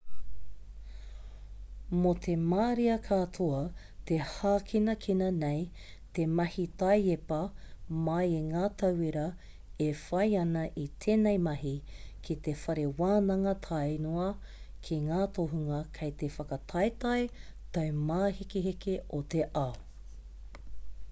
mō te marea katoa te hākinakina nei te mahi taiepa mai i ngā tauira e whai ana i tēnei mahi ki te whare wānanga tāe noa ki ngā tohunga kei te whakataetae taumāhekeheke o te ao